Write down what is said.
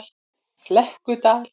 Flekkudal